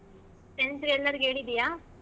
Friends ಗ್ ಎಲ್ಲರ್ಗು ಹೇಳಿದ್ದೀಯಾ ?